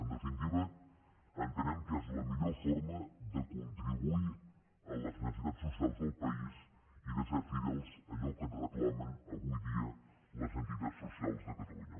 en definitiva entenem que és la millor forma de con·tribuir a les necessitats socials del país i de ser fidels a allò que et reclamen avui dia les entitats socials de catalunya